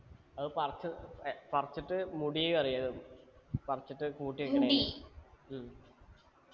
അത് പറിച്ച് ഏർ പറിച്ചിട്ട് മുടി കളയണം പറിച്ചിട്ട് കൂട്ടി വെക്കണതിനെ ഉം